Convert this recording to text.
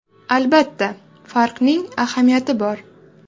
Albatta, farqning ahamiyati bor.